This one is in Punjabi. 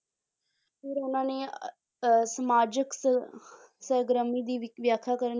ਫਿਰ ਉਹਨਾਂ ਨੇ ਅਹ ਸਮਾਜਕ ਸ~ ਸਰਗਰਮੀ ਦੀ ਵਿ~ ਵਿਆਖਿਆ ਕਰਨ